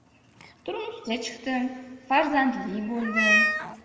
Turmushga chiqdim, farzandli bo‘ldim.